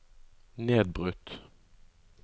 nedbrutt